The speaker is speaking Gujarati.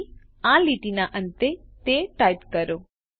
તેથી આ લીટીના અંતે તે ટાઇપ કરો